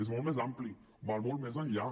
és molt més ampli va molt més enllà